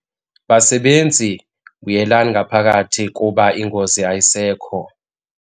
Basebenzi! Buyelani ngaphakathi kuba ingozi ayisekho.